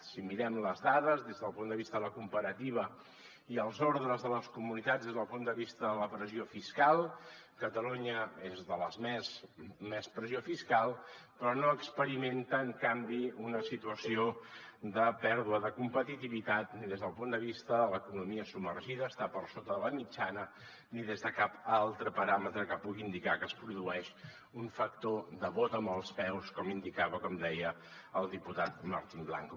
si mirem les dades des del punt de vista de la comparativa i els ordres de les comunitats des del punt de vista de la pressió fiscal catalunya és de les de més pressió fiscal però no experimenta en canvi una situació de pèrdua de competitivitat ni des del punt de vista de l’economia submergida està per sota de la mitjana ni des de cap altre paràmetre que pugui indicar que es produeix un factor de vot amb els peus com indicava com deia el diputat martín blanco